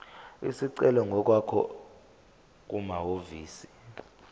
isicelo ngokwakho kumahhovisi